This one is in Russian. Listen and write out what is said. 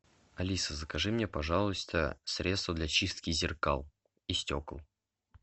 алиса закажи мне пожалуйста средство для чистки зеркал и стекол